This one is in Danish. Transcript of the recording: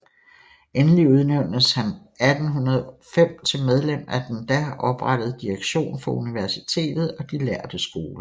Endelig udnævntes han 1805 til medlem af den da oprettede direktion for universitetet og de lærde skoler